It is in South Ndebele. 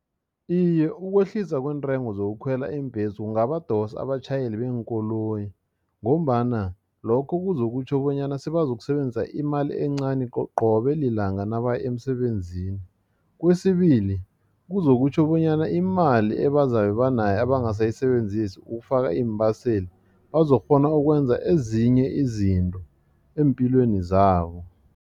Iye, ukwehlisa kweentengo zokukhwela iimbhesi kungabadosa abatjhayeli beenkoloyi ngombana lokho kuzokutjho bonyana sebazokusebenzisa imali encani qobe lilanga nabaya emsebenzini yini kwesibili kuzokutjho bonyana imali ebazabe banayo abangasayisebenzisi ukufaka iimbaseli bazokukghona ukwenza ezinye izinto eempilweni zabo.